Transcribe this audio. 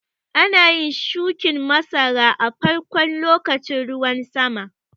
Ana yin shuƙin masara a farkon lokacin ruwan sama.